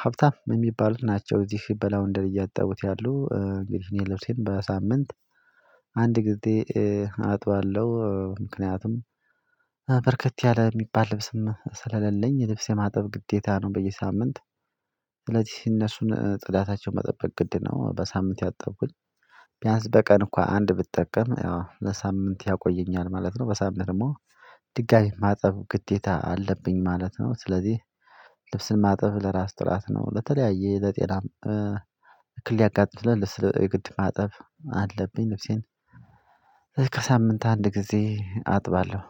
ሀብታም የሚባሉት ናቸው እዚህ በላዉንደሪ እያጠቡት ያሉ እንግዲህ እኔ ልብሴም በሳምንት አንድ ጊዜ አጥባለሁ፣ ምክንያቱም በርከት ያለ የሚባል ልብስም ስለሌለኝ ልብስ የማጠብ ግዴታ ነው በየሳምንት ስለዚህ እነሱን ጥዳታቸውን መጠበቅ ግድ ነው በሳምንት ያጠብኩኝ ቢያንስ በቀን እኮ አንድ ብጠቀም ያው ለሳምንት ያቆየኛል ማለት ነው በሳምንት ደግሞ ድጋሚ ማጠብ ግዴታ አለብኝ ማለት ነው፣ ስለዚህ ልብስን ማጠብ ለራስ ጥራት ነው ለተለያየ ለጤናም ሊያጋልጥ ይችላል ስለ የግድ ማጠብ አለብኝ ልብሴን ከሳምንት አንድ ጊዜ አጥባለሁ።